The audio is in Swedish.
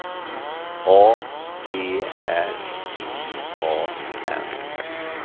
A D R I A N